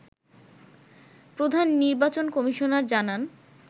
প্রধান নির্বাচন কমিশনার জানান